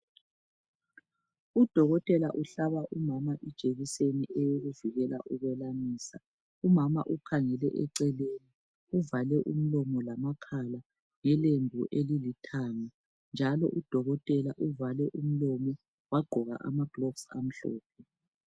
Udokotela uhlaba umama ijekiseni eyokuvikela ukwelamisa. Umama ukhangele eceleni uvale umlomo lamakhala ngelembu elilithanga njalo udokotela uvale umlomo wagqoka ama gloves amhlophe.